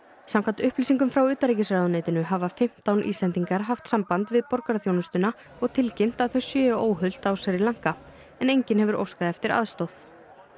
samkvæmt upplýsingum frá utanríkisráðuneytinu hafa fimmtán Íslendingar haft samband við borgaraþjónustuna og tilkynnt að þau séu óhult á Sri Lanka en enginn hefur óskað eftir aðstoð